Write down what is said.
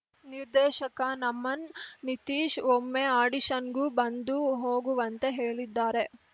ನಿರ್ದೇಶಕ ನಮನ್‌ ನಿತೀಶ್‌ ಒಮ್ಮೆ ಆಡಿಷನ್‌ಗೂ ಬಂದು ಹೋಗುವಂತೆ ಹೇಳಿದ್ದಾರೆ